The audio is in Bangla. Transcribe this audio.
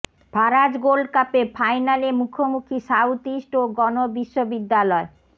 ফারাজ গোল্ডকাপে ফাইনালে মুখোমুখি সাউথ ইস্ট ও গণ বিশ্ববিদ্যালয়